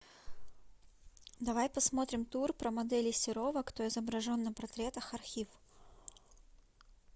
давай посмотрим тур про моделей серова кто изображен на портретах архив